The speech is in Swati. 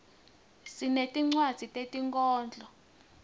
sinetincwadzi tetinkhondlo